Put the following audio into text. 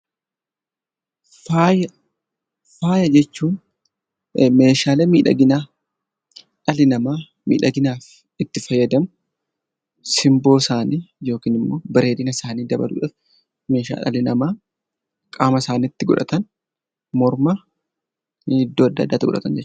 Faaya, faaya jechuun meeshaalee miidhaginaa dhalli namaa miidhaginaaf itti fayyadamu. Simboo isaanii yookiin immo bareedina isaa dabaluuf meeshaa dhalli namaa qaama isaaniitti godhattan, morma iddoo addaa addaatti godhatan jechuudha.